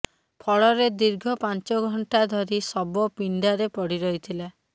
ଫଳରେ ଦୀର୍ଘ ପାଞ୍ଚଘଣ୍ଟା ଧରି ଶବ ପିଣ୍ଡାରେ ପଡ଼ି ରହିଥିଲା